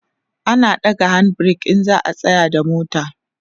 ana ɗaga hand break in za'a tsayar da mota